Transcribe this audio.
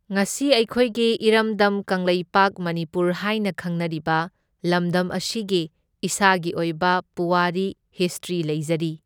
ꯉꯁꯤ ꯑꯩꯈꯣꯏꯒꯤ ꯏꯔꯝꯗꯝ ꯀꯪꯂꯩꯄꯥꯛ ꯃꯅꯤꯄꯨꯔ ꯍꯥꯏꯅ ꯈꯪꯅꯔꯤꯕ ꯂꯝꯗꯝ ꯑꯁꯤꯒꯤ ꯏꯁꯥꯒꯤ ꯑꯣꯏꯕ ꯄꯨꯋꯥꯔꯤ ꯍꯤꯁꯇ꯭ꯔꯤ ꯂꯩꯖꯔꯤ꯫